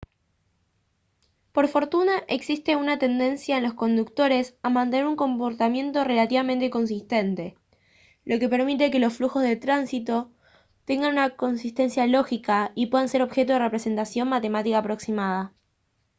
por fortuna existe una tendencia en los conductores a mantener un comportamiento relativamente consistente lo que permite que los flujos de tráfico tengan una consistencia lógica y puedan ser objeto de representación matemática aproximada